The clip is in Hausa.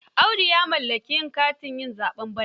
Audu ya mallaki katin yin zaɓe bana.